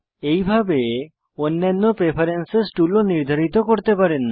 এইভাবে অন্যান্য preference tool ও নির্ধারিত করতে পারেন